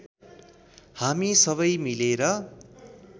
हामी सबै मिलेर